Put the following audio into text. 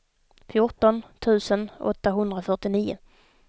fjorton tusen åttahundrafyrtionio